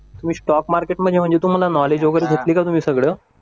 तुम्ही स्टॉक मार्केटमध्ये म्हणजे तुम्हाला नॉलेज वगैरे घेतल का तुम्ही सगळं